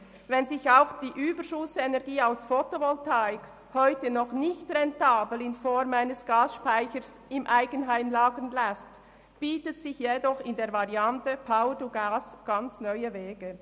Wenn sich auch die Überschussenergie aus Fotovoltaik heute noch nicht rentabel in Form eines Gasspeichers im Eigenheim lagern lässt, bieten sich jedoch in der Variante Power-to-Gas völlig neue Wege.